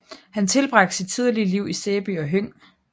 Han tilbragte sit tidlige liv i Sæby og Høng